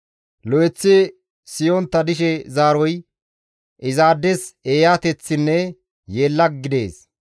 Lo7eththi siyontta dishe zaaroy, izaades eeyateththinne yeella gidees.